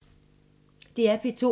DR P2